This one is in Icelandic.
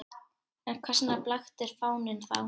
En hvers vegna blaktir fáninn þá?